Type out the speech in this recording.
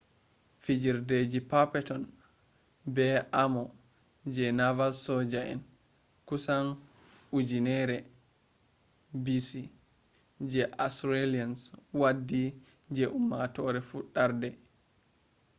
fijirdeji perpeton be armor je rival soja en. kusan 1000b.c. je assyrians waddi je ummatore fudarde